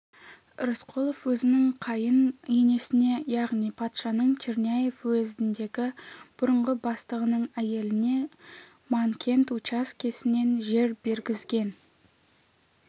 рысқұлов өзінің қайын енесіне яғни патшаның черняев уезіндегі бұрынғы бастығының әйеліне манкент учаскесінен жер бергізген